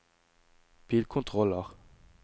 bilkontroller